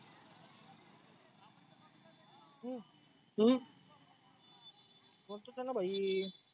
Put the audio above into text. हम्म बोलतोच आहेना भाई.